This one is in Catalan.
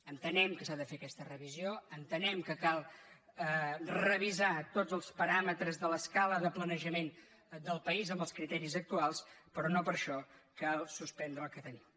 entenem que s’ha de fer aquesta revisió entenem que cal revisar tots els paràmetres de l’escala de planejament del país amb els criteris actuals però no per això cal suspendre el que tenim